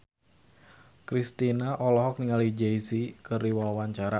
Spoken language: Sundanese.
Kristina olohok ningali Jay Z keur diwawancara